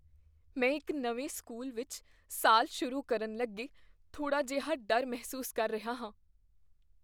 ਮੈਂ ਇੱਕ ਨਵੇਂ ਸਕੂਲ ਵਿੱਚ ਸਾਲ ਸ਼ੁਰੂ ਕਰਨ ਲੱਗੇ ਥੋੜ੍ਹਾ ਜਿਹਾ ਡਰ ਮਹਿਸੂਸ ਕਰ ਰਿਹਾ ਹਾਂ।